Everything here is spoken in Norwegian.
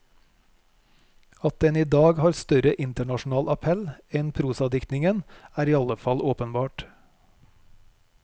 At den i dag har større internasjonal appell enn prosadiktningen, er iallfall åpenbart.